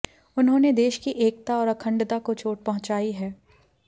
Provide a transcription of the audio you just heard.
उन्होंने देश की एकता और अखंडता चोट पहुँचाई है